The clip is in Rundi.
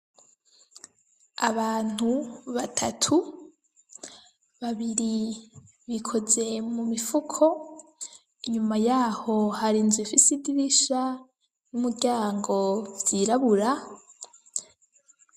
Abantu batatu, babiri bikoze mu mifuko, inyuma yaho hari inzu ifise idirisha n'umuryango vyirabura.